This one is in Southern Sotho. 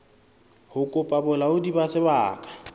ho kopa bolaodi ba sebaka